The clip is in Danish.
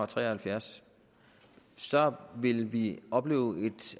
tre og halvfjerds så ville vi opleve et